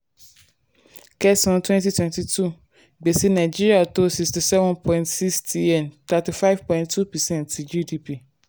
kẹ́san twenty twenty two gbèsè nàìjíríà tó sixty seven point six tn thirty five point two percent ti gdp.